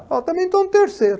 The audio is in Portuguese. Falei, também estou no terceiro.